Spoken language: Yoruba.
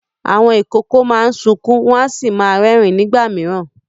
Àwọn ìkókó máa ń sunkún wọ́n sì máa ń rẹ́rìn-ín nígbà mìíràn.